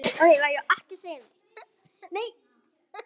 Þá máttu jólin koma.